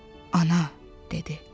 Ana, dedi.